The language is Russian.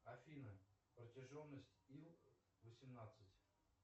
афина протяженность ил восемнадцать